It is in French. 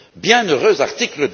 Bienheureux article